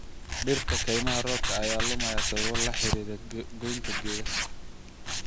Dhirta kaymaha roobka ayaa lumaya sababo la xiriira goynta geedaha.